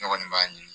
Ne kɔni b'a ɲini